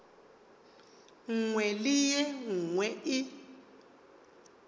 nngwe le ye nngwe e